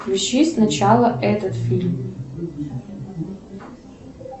включи сначала этот фильм